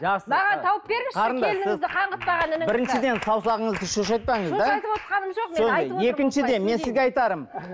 біріншіден саусағыңызды шошайтпаңыз да екіншіден мен сізге айтарым